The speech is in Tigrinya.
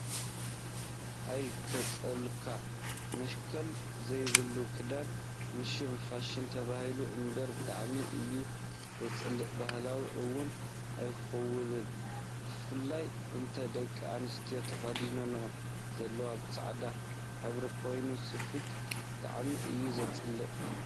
ኣይ! ከፅለካ መሸከል ዘይብሉ ክዳን ንሽም ፋሽን ተባሂሉ እምበር ብጣዕሚ እዩ ዘፅልእ ባህልና እውን ኣይውክሎን። ብፍላይ እተን ደቂ ኣንስትዮ ተኪዲነንኦ ዘለዋ ብፃዕዳ ሕብሪ ኮይኑ ስፌቱ ብጣዕሚ እዩ ዘፅልእ!